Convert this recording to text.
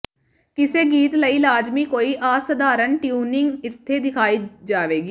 ਕਿਸੇ ਗੀਤ ਲਈ ਲਾਜ਼ਮੀ ਕੋਈ ਅਸਾਧਾਰਨ ਟਿਊਨਿੰਗ ਇੱਥੇ ਦਿਖਾਈ ਜਾਵੇਗੀ